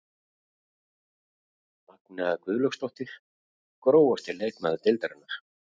Magnea Guðlaugsdóttir Grófasti leikmaður deildarinnar?